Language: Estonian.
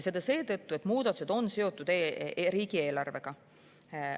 Seda seetõttu, et muudatused on seotud riigieelarvega.